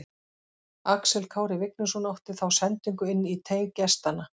Axel Kári Vignisson átti þá sendingu inn í teig gestanna.